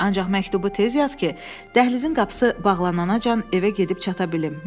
Ancaq məktubu tez yaz ki, dəhlizin qapısı bağlanana can evə gedib çata bilim.